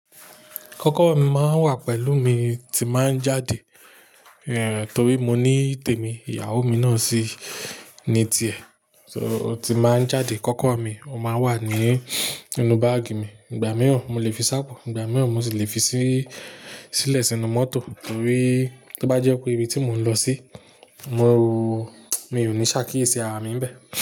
Kọ́kọ́rọ́ mi máa ń wà pẹ̀lú mi tí màá jáde, torí mo ní ìtémi, ìyàwó mi náà sì ní ti è. So tí màá jáde, kọ́kọ́rọ́ mi, ó máa wà ní inú báàgì mi. Ìgbà mìíràn, mo lè fi sápo, ìgbà míràn mo sì lè fi sí, sílẹ̀ sínú mọ́tò torí to bá jẹ́ pé ibi tí mò ń lọ sí, mo, mi ò ní ṣàkíyèsí ara mi bẹ́ẹ̀